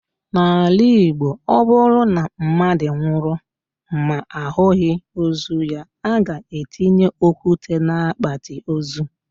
N'ala Igbo, o bụrụ na mmadụ nwụrụ ma ahụghị ozu ya, a ga-etinye okwute n'akpati ozu.